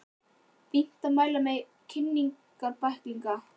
Fínt að mæla með því í kynningarbækling.